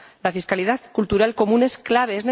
La fiscalidad cultural común es clave.